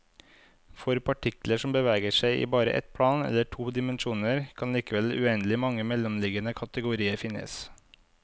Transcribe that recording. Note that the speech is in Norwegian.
For partikler som beveger seg i bare ett plan, eller to dimensjoner, kan likevel uendelig mange mellomliggende kategorier finnes.